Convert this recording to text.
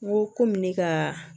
N ko kɔmi ne kaa